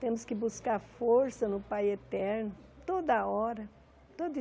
Temos que buscar força no Pai Eterno toda hora, todo